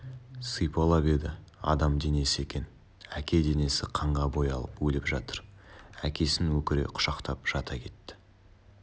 сипалап еді адам денесі екен әке денесі қанға боялып өліп жатыр әкесін өкіре құшақтап жата кетті